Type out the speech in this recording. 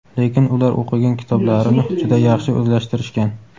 lekin ular o‘qigan kitoblarini juda yaxshi o‘zlashtirishgan.